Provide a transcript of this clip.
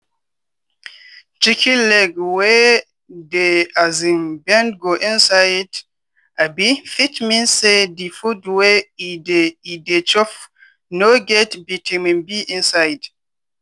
chicken leg wey dey um bend go inside um fit mean say di food wey e dey e dey chop no get vitamin b inside.